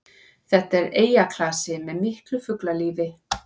Þetta er eyjaklasi með miklu fuglalífi